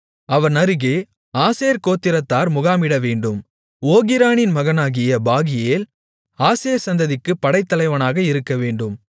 அவன் அருகே ஆசேர் கோத்திரத்தார் முகாமிடவேண்டும் ஓகிரானின் மகனாகிய பாகியேல் ஆசேர் சந்ததிக்குப் படைத்தலைவனாக இருக்கவேண்டும்